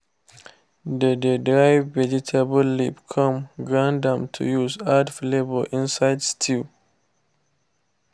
they dey dry vegetable leaf come grind am to use add flavour inside stew.